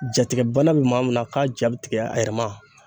Jatigɛ bana be maa mun na k'a ja bi tigɛ a yɛrɛ ma.